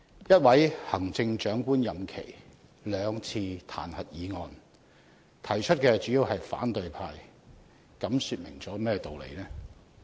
一位行政長官的任期內有兩次彈劾議案，而提出議案的主要是反對派，這說明了甚麼道理呢？